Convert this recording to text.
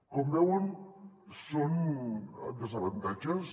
com veuen són desavantatges